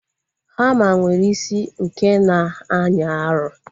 Hama nwere isi nke na-anyị arụ